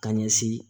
Ka ɲɛsin